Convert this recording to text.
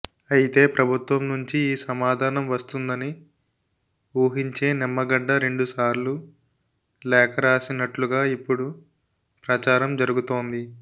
అయితే ప్రభుత్వం నుంచి ఈ సమాధానం వస్తుందని ఊహించే నిమ్మగడ్డ రెండుసార్లు లేఖ రాసినట్లుగా ఇప్పుడు ప్రచారం జరుగుతోంది